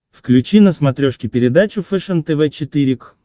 включи на смотрешке передачу фэшен тв четыре к